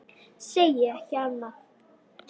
Segi ekki annað.